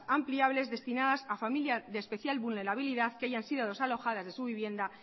ampliables destinadas a familias de especial vulnerabilidad que hayan sido desalojadas de su vivienda